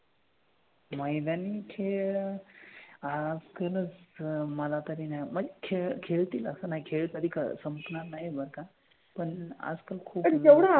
मैदानी खेळ अह ते ना मला तरी नाही म्हणजे खेळतील नाही असं नाही खेळ कधी संपणार नाही बरं का. पण आजकाल खूप,